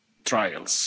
clinical